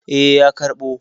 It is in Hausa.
Eh, ya karɓo.